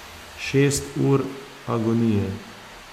Šest ur agonije.